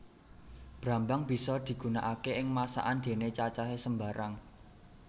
Brambang bisa digunakaké ing masakan déné cacahé sembarang